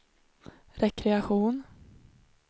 rekreation